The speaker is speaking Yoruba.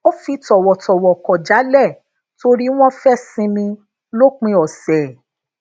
ó fi tòwòtòwò kò jálè tori wón fe sinmi lòpin òsè